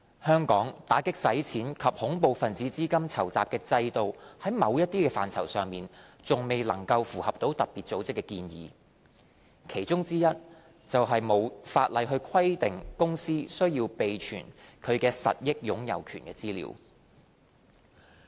香港打擊洗錢及恐怖分子資金籌集的制度在某些範疇上還未能符合特別組織的建議，其中之一是沒有法例規定公司須備存其實益擁有權資料。